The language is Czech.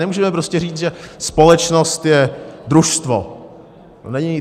Nemůžeme prostě říct, že společnost je družstvo.